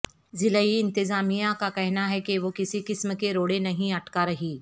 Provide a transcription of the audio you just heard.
ضلعی انتظامیہ کا کہنا ہے کہ وہ کسی قسم کے روڑے نہیں اٹکا رہی